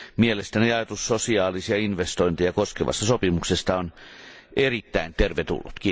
Mielestäni ajatus sosiaalisia investointeja koskevasta sopimuksesta on erittäin tervetullut.